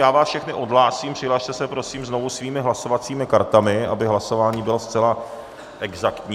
Já vás všechny odhlásím, přihlaste se prosím znovu svými hlasovacími kartami, aby hlasování bylo zcela exaktní.